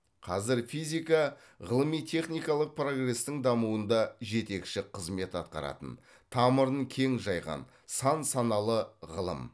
қазір физика ғылыми техникалық прогрестің дамуында жетекші қызмет атқаратын тамырын кең жайған сан саналы ғылым